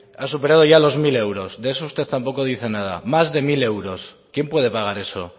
ha superado ya los mil euros de eso usted tampoco dice nada más de mil euros quién puede pagar eso